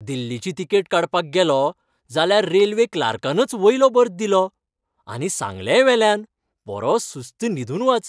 दिल्लीची तिकेट काडपाक गेलों, जाल्यार रेल्वे क्लार्कानच वयलो बर्थ दिलो, आनी सांगलेंय वेल्यान, बरो सुस्त न्हिदून वच.